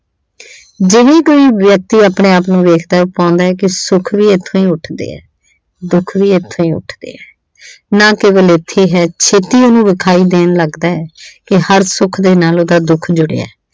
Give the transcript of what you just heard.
ਜਿਵੇਂ ਕੋਈ ਵਿਆਕਤੀ ਆਪਣੇ ਆਪ ਨੂੰ ਵੇਖਦਾ ਐ, ਉਹ ਪਾਉਂਦਾ ਕਿ ਸੁੱਖ ਵੀ ਇੱਥੋਂ ਹੀ ਉੱਠ ਦੇ ਆ, ਦੁੱਖ ਵੀ ਇੱਥੋਂ ਹੀ ਉੱਠ ਦੇ ਐ। ਨਾ ਕੇਵਲ ਇੱਥੇ ਐ। ਛੇਤੀ ਉਸ ਨੂੰ ਵਿਖਾਈ ਦੇਣ ਲੱਗਦਾ ਕਿ ਹਰ ਸੁੱਖ ਦੇ ਨਾਲ ਉਹਦਾ ਦੁੱਖ ਜੁੜਿਆ।